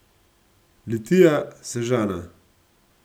Litija, Sežana.